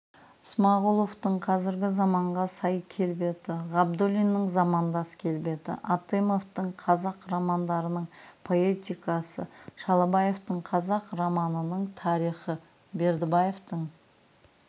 ысмағұловтың қазіргі заманға сай келбеті ғабдуллиннің замандас келбеті атымовтың қазақ романдарының поэтикасы шалабаевтың қазақ романының тарихы бердібаевтың